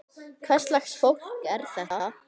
Hvers lags fólk er þetta?